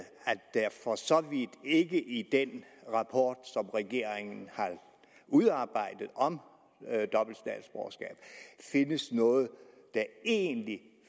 der for så vidt ikke i den rapport som regeringen har udarbejdet om dobbelt statsborgerskab findes noget der egentlig